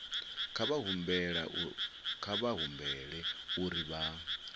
nga vha humbela uri vha